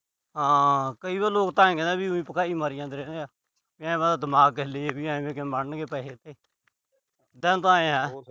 ਹਾਂ, ਕਈ ਵਾਰ ਲੋਕ ਆਏ ਕਹਿੰਦੇ ਆ, ਉਈ ਭਕਾਈ ਮਾਰੀ ਜਾਂਦੇ ਨੇ। ਦਿਮਾਗ ਹਿੱਲ ਜੇ ਆਏ ਕਿਵੇਂ ਬਣਨਗੇ ਪੈਸੇ ਇੱਥੇ। ਸਾਨੂੰ ਤਾਂ ਆਏ ਆ।